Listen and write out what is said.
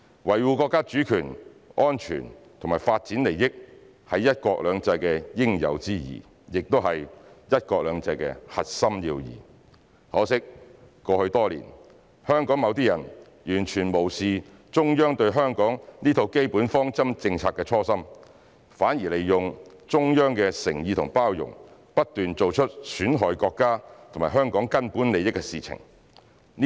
維護國家主權、安全和發展利益，是"一國兩制"的應有之義，也是"一國兩制"的核心要義。可惜，過去多年，香港某些人完全無視中央對香港這套基本方針政策的初心，反而利用中央的誠意和包容，不斷做出損害國家和香港根本利益的事情。